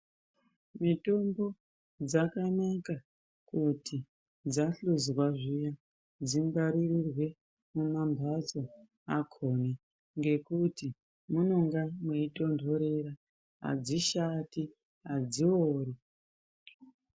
Mitombo dzakanaka kuti dzasvozwa zviya dzingwaririrwe mumambatso akhoni ngekuti munonga mweitonhorera, adzishati, adziori.